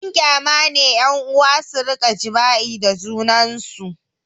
Abin kyama ne ƴan'uwa su rika jima'i da junansu